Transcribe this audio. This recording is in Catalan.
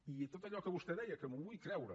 i tot allò que vostè deia que m’ho vull creure